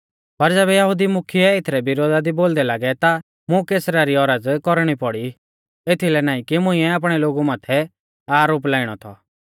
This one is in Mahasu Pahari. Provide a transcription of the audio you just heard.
पर ज़ैबै यहुदी मुख्यै एथरै विरोधा दी बोलदै लागै ता मुं कैसरा री औरज़ कौरणी पौड़ी एथलै नाईं कि मुंइऐ आपणै लोगु माथै आरोप लाइणौ थौ